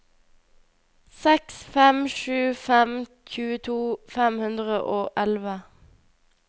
seks fem sju fem tjueto fem hundre og elleve